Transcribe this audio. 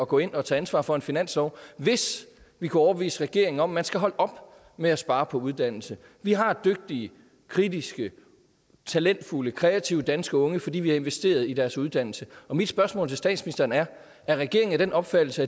gå ind og tage ansvar for en finanslov hvis vi kunne overbevise regeringen om at man skal holde op med at spare på uddannelse vi har dygtige kritiske talentfulde kreative danske unge fordi vi har investeret i deres uddannelse og mit spørgsmål til statsministeren er er regeringen af den opfattelse